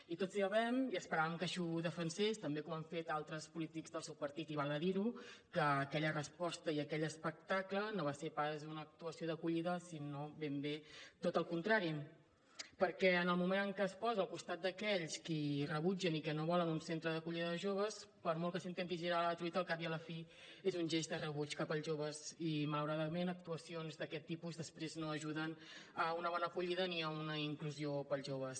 i tots sabem i esperàvem que així ho defensés també com han fet altres polítics del seu partit i val a dir ho que aquella resposta i aquell espectacle no va ser pas una actuació d’acollida sinó ben bé tot el contrari perquè en el moment en què es posa al costat d’aquells qui rebutgen i que no volen un centre d’acollida de joves per molt que s’intenti girar la truita al cap i a la fi és un gest de rebuig cap als joves i malauradament actuacions d’aquest tipus després no ajuden a una bona acollida ni a una inclusió pels joves